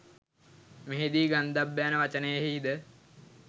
මෙහිදී ගන්ධබ්බ යන වචනයෙහිද